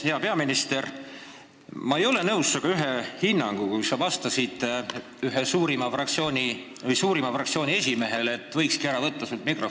Hea peaminister, ma ei ole nõus ühe sinu hinnanguga – sellega, kui sa vastasid suurima fraktsiooni esimehele, et sult võikski mikrofoni ära võtta.